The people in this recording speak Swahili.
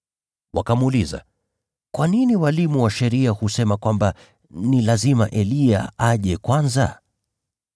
Wakamuuliza, “Kwa nini walimu wa sheria husema kwamba ni lazima Eliya aje kwanza?”